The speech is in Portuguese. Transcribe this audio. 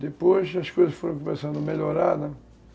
Depois as coisas foram começando a melhorar, né?